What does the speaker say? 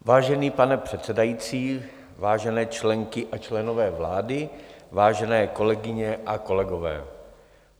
Vážený pane předsedající, vážené členky a členové vlády, vážené kolegyně a kolegové.